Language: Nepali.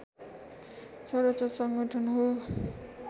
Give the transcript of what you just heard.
सर्वोच्च सङ्गठन हो